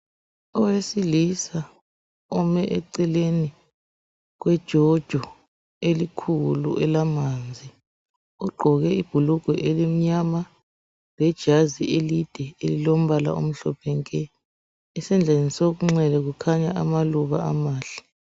Owesilisa ome eceleni kwejojo elikhulu elemanzi ugqoke ibhulugwe elimnyama lejazi elide elilombala omhlophe nke esandleni sokunxele kukhanya amaluba amahle.